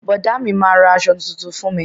Bọ̀dá mi, ma ra aṣọ tuntun fún mi.